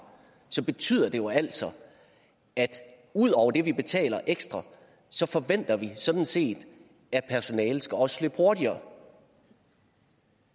betyder det jo altså at ud over det vi betaler ekstra forventer vi sådan set at personalet også skal hurtigere